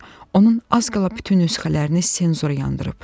Onun az qala bütün nüsxələrini senzura yandırıb.